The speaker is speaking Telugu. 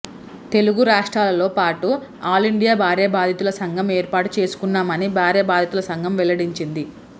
తెలుగు రాష్ట్రాలతో పాటు ఆలిండియా భార్యా బాధితుల సంఘం ఏర్పాటు చేసుకున్నామని భార్యా బాధితుల సంఘం వెల్లడించింది